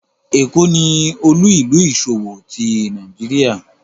Lagos ni olu-ilu iṣowo ti Nigeria